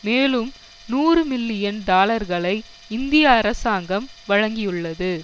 மேலும் நூறு மில்லியன் டாலர்களை இந்திய அரசாங்கம் வழங்கியுள்ளது